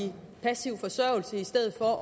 passiv forsørgelse i stedet for